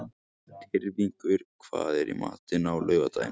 Tyrfingur, hvað er í matinn á laugardaginn?